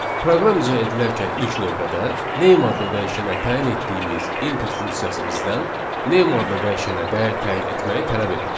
Proqram icra edilərkən ilk növbədə name adlı dəyişənə təyin etdiyimiz input funksiyası bizdən name adlı dəyişənə dəyər təyin etməyi tələb edir.